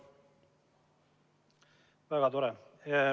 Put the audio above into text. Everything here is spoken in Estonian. Väga tore!